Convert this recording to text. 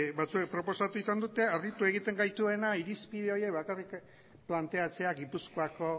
batzuek proposatu izan dute harritu egiten gaituena irizpide horiek bakarrik planteatzea gipuzkoako